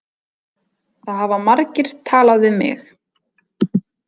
Það hafa margir talað við mig